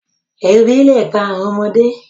Ebi le pa awọn ọmọde